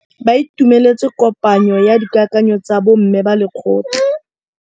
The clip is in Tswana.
Ba itumeletse kôpanyo ya dikakanyô tsa bo mme ba lekgotla.